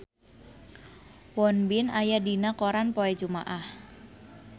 Won Bin aya dina koran poe Jumaah